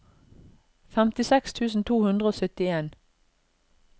femtiseks tusen to hundre og syttien